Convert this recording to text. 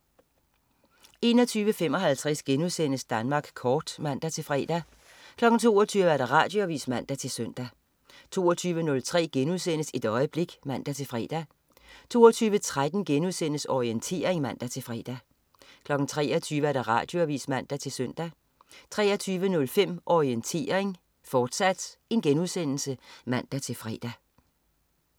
21.55 Danmark Kort* (man-fre) 22.00 Radioavis (man-søn) 22.03 Et øjeblik* (man-fre) 22.13 Orientering* (man-fre) 23.00 Radioavis (man-søn) 23.05 Orientering, fortsat* (man-fre)